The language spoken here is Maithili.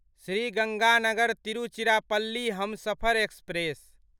श्री गङ्गानगर तिरुचिरापल्ली हमसफर एक्सप्रेस